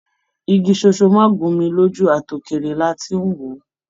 Igi sónsó má gùn mí lójú àti òkéré là tí n wọ.